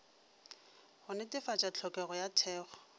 go netefatša tlhokego ya thekgo